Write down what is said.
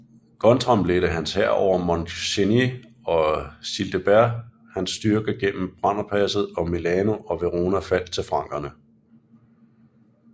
Guntram ledte hans hær over Mont Cenis og Childebert hans styrker gennem Brennerpasset og Milano og Verona faldt til frankerne